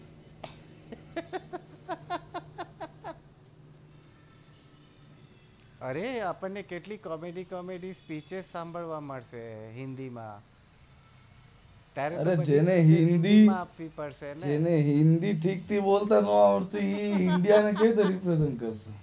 અરે આપણ ને કેટલી કોમેડી કોમેડી સ્પીચ સાંભળવા મળશે જેને હિન્દી ઠીક થી બોલતા નો આવડે એ ઇન્ડિયા ને કેવી રીતે રેપ્રેઝન્ટ કરે